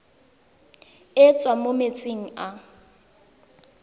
e tswang mo metsing a